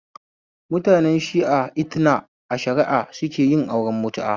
Mutanen shia Ithna ashariya su sukeyin auren mutu'a